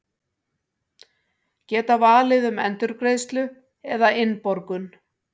Geta valið um endurgreiðslu eða innborgun